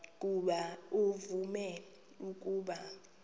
ukuba uvume ukuba